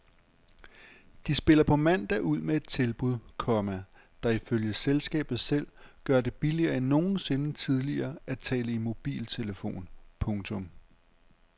De spiller på mandag ud med et tilbud, komma der ifølge selskabet selv gør det billigere end nogensinde tidligere at tale i mobiltelefon. punktum